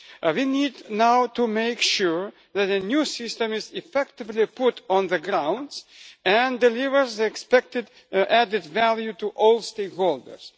We now need to make sure that the new system is effectively put on the ground and delivers the expected added value to all stakeholders.